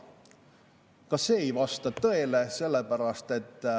Aga see ei vasta tõele.